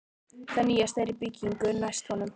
Það nýjasta er í byggingu næst honum.